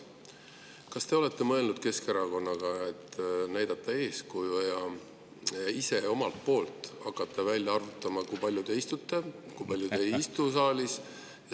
Kas te olete mõelnud Keskerakonnaga näidata eeskuju ja hakata ise välja arvutama, kui palju te saalis istute ja kui palju ei istu?